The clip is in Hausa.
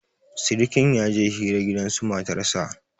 sirikin ya je hira gidansu matarsa